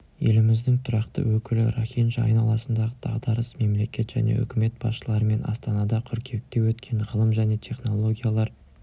еліміздің тұрақты өкілі рохинджа айналасындағы дағдарыс мемлекет және үкімет басшыларымен астанада қыркүйекте өткен ғылым және технологиялар